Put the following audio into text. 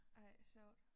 Ej sjovt